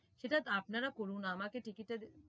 সেটা আপনারা করুন আমাকে ticket এর